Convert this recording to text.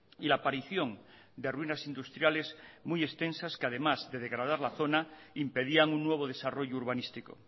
y la aparición de ruinas industriales muy extensas que además de degradar la zona impedían un nuevo desarrollo urbanístico